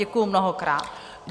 Děkuji mnohokrát.